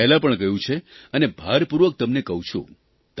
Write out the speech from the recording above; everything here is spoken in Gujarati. મેં પહેલાં પણ કહ્યું છે અને ભારપૂર્વક તમને કહું છું